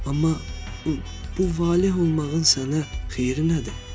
Amma bu valeh olmağın sənə xeyri nədir?